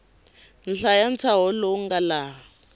hlaya ntshaho lowu nga laha